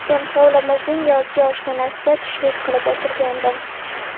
Men hovlimizning yozgi oshxonasida tushlik qilib o‘tirgandim.